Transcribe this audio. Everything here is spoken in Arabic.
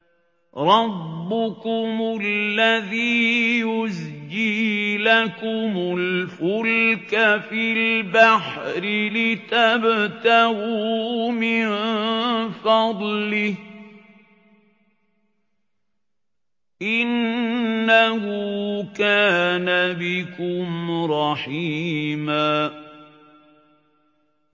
رَّبُّكُمُ الَّذِي يُزْجِي لَكُمُ الْفُلْكَ فِي الْبَحْرِ لِتَبْتَغُوا مِن فَضْلِهِ ۚ إِنَّهُ كَانَ بِكُمْ رَحِيمًا